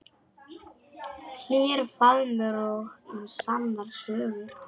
Hlýr faðmur og sannar sögur.